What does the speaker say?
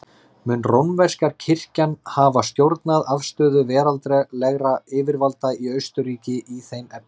Mun rómverska kirkjan hafa stjórnað afstöðu veraldlegra yfirvalda í Austurríki í þeim efnum.